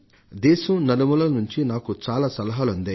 దేశం నలుమూలల నుంచి నాకు చాలా సలహాలు అందాయి